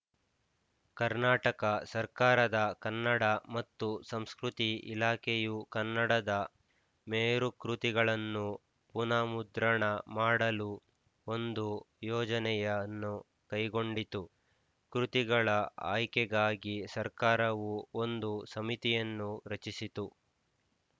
ಕರ್ನಾಟಕ ಸರ್ಕಾರದ ಕನ್ನಡ ಮತ್ತು ಸಂಸ್ಕೃತಿ ಇಲಾಖೆಯು ಕನ್ನಡದ ಮೇರುಕೃತಿಗಳನ್ನು ಪುನರ್‍ಮುದ್ರಣ ಮಾಡಲು ಒಂದು ಯೋಜನೆಯನ್ನು ಕೈಗೊಂಡಿತು ಕೃತಿಗಳ ಆಯ್ಕೆಗಾಗಿ ಸರ್ಕಾರವು ಒಂದು ಸಮಿತಿಯನ್ನು ರಚಿಸಿತು